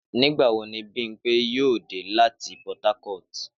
Nígbà wo ni Bímpé yóò dé láti Port Harcourt?